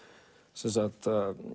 sem sagt